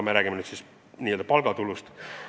Jutt on siis n-ö palgatulust.